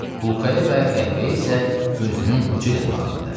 Bulkaya və qəhvəyə isə gözünün ucu ilə də baxmırdı.